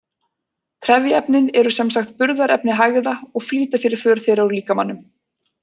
Trefjaefnin eru sem sagt burðarefni hægða og flýta fyrir för þeirra úr líkamanum.